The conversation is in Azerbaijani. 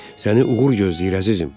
Səni uğur gözləyir, əzizim.